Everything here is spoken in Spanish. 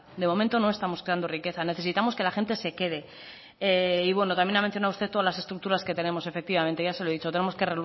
de momento no estamos creando riqueza necesitamos que la gente se quede y bueno también ha mencionado usted todas las estructuras que tenemos efectivamente ya se lo he dicho tenemos que